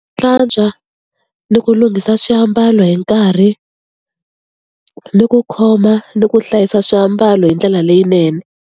Hlantswa ni ku lunghisa swiambalo hi nkarhi ni ku khoma ni ku hlayisa swiambalo hi ndlela leyinene.